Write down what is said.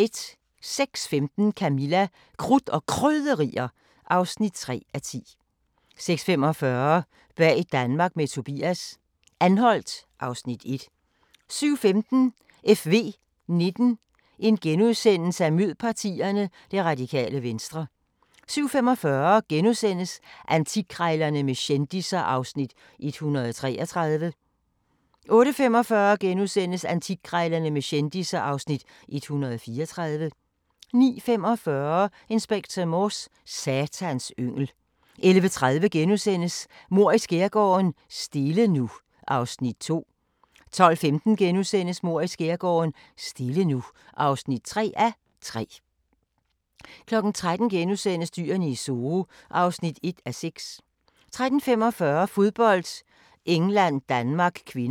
06:15: Camilla – Krudt og Krydderier (3:10) 06:45: Bag Danmark med Tobias – Anholt (Afs. 1) 07:15: FV19: Mød partierne – Radikale Venstre * 07:45: Antikkrejlerne med kendisser (Afs. 133)* 08:45: Antikkrejlerne med kendisser (Afs. 134)* 09:45: Inspector Morse: Satans yngel 11:30: Mord i Skærgården: Stille nu (2:3)* 12:15: Mord i skærgården: Stille nu (3:3)* 13:00: Dyrene i Zoo (1:6)* 13:45: Fodbold: England-Danmark (k)